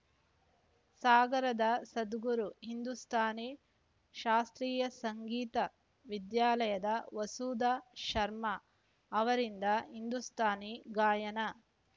ಸಾಗರದ ಸದ್ಗುರು ಹಿಂದೂಸ್ಥಾನಿ ಶಾಸ್ತ್ರೀಯ ಸಂಗೀತ ವಿದ್ಯಾಲಯದ ವಸುಧಾ ಶರ್ಮ ಅವರಿಂದ ಹಿಂದೂಸ್ಥಾನಿ ಗಾಯನ